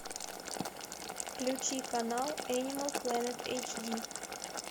включи канал анимал планет эйч ди